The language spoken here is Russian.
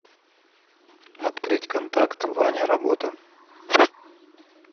открыть контакт ваня работа